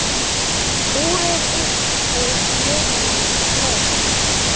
Skúrir upp úr miðjum leik.